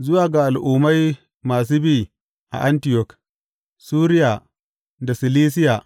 Zuwa ga Al’ummai masu bi a Antiyok, Suriya da Silisiya.